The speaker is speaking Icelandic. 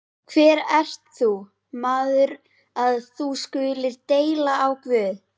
Hver ert þú, maður, að þú skulir deila á Guð?